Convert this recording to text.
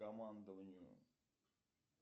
командованию